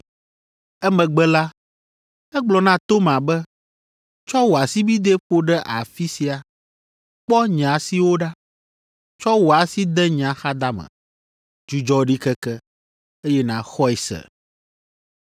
Emegbe la, egblɔ na Toma be, “Tsɔ wò asibidɛ ƒo ɖe afi sia; kpɔ nye asiwo ɖa. Tsɔ wò asi de nye axadame. Dzudzɔ ɖikeke, eye nàxɔe se.”